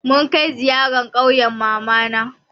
Mun kai ziyara ƙauyen mamana.